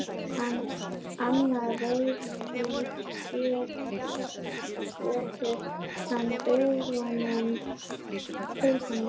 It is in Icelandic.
Annað veifið gýtur hann augunum til hennar.